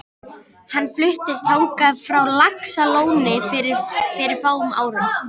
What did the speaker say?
Hann fluttist þangað frá Laxalóni fyrir fáum árum.